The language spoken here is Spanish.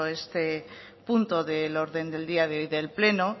este punto del orden del día de hoy del pleno